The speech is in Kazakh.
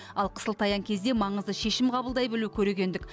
ал қысылтаяң кезде маңызды шешім қабылдай білу көрегендік